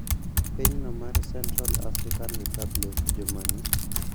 Pinyno mar Central African Republic juma ni